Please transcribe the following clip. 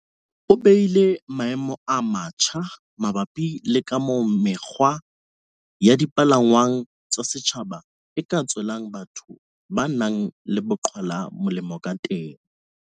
o behile maemo a matjha mabapi le kamoo mekgwa ya di palangwang tsa setjhaba e ka tswelang batho ba nang le bo qhwala molemo kateng.